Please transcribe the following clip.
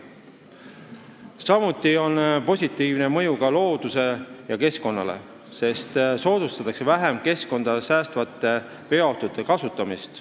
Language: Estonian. Samuti on seadusel positiivne mõju loodusele ja keskkonnale, sest soodustatakse vähem saastavate veoautode kasutamist.